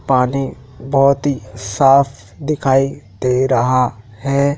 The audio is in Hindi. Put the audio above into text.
पानी बहोत ही साफ दिखाई दे रहा है।